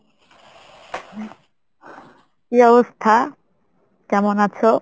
কী অবস্থা কেমন আছো?